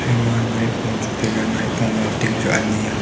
ema naipo chu taiya naipo bunktin ani a.